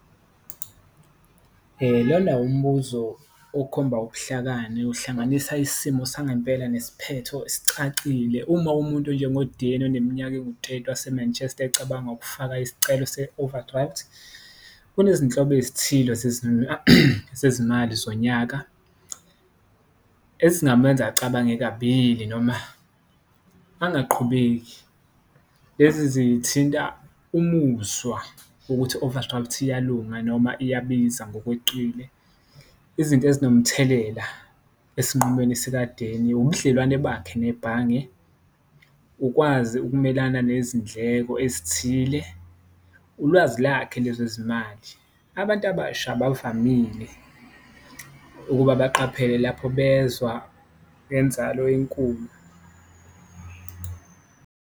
Lona umbuzo okhomba ubuhlakani uhlanganisa isimo sangempela nesiphetho esicacile uma umuntu onjengo-Danny oneminyaka enguteti wase-Manchester ecabanga ukufaka isicelo se-overdraft. Kunezinhlobo ezithile zezimali zonyaka ezingamenza acabange kabili noma angaqhubeki, lezi zithinta umuzwa wokuthi u-overdraft iyalunga noma iyabiza ngokweqile. Izinto ezinomthelela esinqumweni esika-Danny ubudlelwane bakhe nebhange, ukwazi ukumelana nezindleko ezithile, ulwazi lakhe lwezezimali, abantu abasha abavamile ukuba baqaphele lapho bezwa ngenzalo enkulu.